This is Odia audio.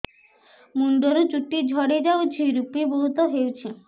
ମୁଣ୍ଡରୁ ଚୁଟି ଝଡି ଯାଉଛି ଋପି ବହୁତ ହେଉଛି